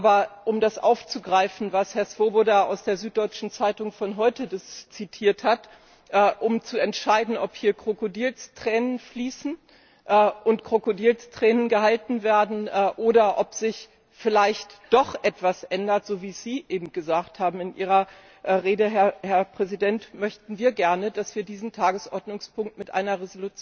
Aber um das aufzugreifen, was Herr Swoboda aus der Süddeutschen Zeitung von heute zitiert hat um zu entscheiden, ob hier Krokodilstränen fließen und Krokodilsreden gehalten werden oder ob sich vielleicht doch etwas ändert, so wie Sie eben in Ihrer Rede gesagt haben, Herr Präsident, möchten wir gerne, dass wir diesen Tagesordnungspunkt mit einer